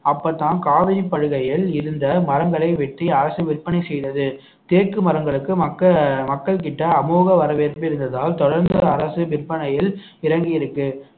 அப்பதான் காவிரி படுகையில் இருந்த மரங்களை வெட்டி அரசு விற்பனை செய்தது தேக்கு மரங்களுக்கு மக்க~ மக்கள்கிட்ட அமோக வரவேற்பு இருந்ததால் தொடர்ந்து அரசு விற்பனையில் இறங்கி இருக்கு